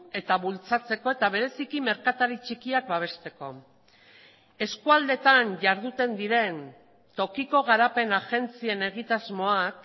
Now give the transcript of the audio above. eta bultzatzeko eta bereziki merkatari txikiak babesteko eskualdetan jarduten diren tokiko garapen agentzien egitasmoak